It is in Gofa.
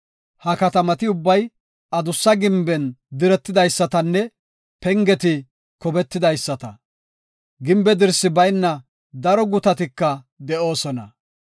Ha katamati ubbay adussa gimben diretidaysatanne pengeti kobetidaysata. Gimbe dirsi bayna daro gutatika de7oosona.